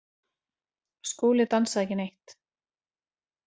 Skúli dansaði ekki neitt.